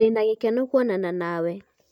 ndĩna gĩkeno kuonana nawe